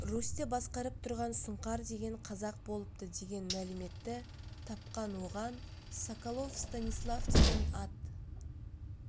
русьті басқарып тұрған сұңқар деген қазақ болыпты деген мәліметті тапқан оған соколов станислав деген ат